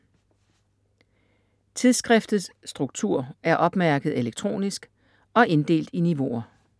Tidsskriftets struktur er opmærket elektronisk og inddelt i niveauer: